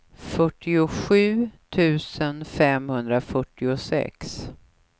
fyrtiosju tusen femhundrafyrtiosex